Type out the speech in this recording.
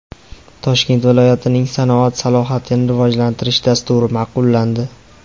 Toshkent viloyatining sanoat salohiyatini rivojlantirish dasturi ma’qullandi.